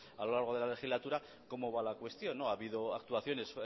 a lo largo de la legislatura cómo va la cuestión ha habido actuaciones